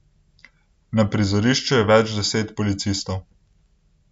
Na prizorišču je več deset policistov.